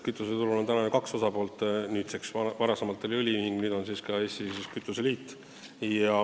Kütuseturul on ju kaks osapoolt, varem oli vaid õliühing, nüüd on ka siis Eesti Kütuseliit.